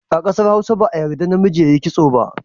A ƙasar Hausa ba a yadda namiji ya yi kitso ba.